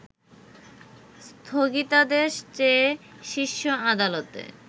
স্থগিতাদেশ চেয়ে শীর্ষ আদালতে